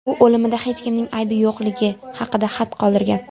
U o‘limida hech kimning aybi yo‘qligi haqida xat qoldirgan.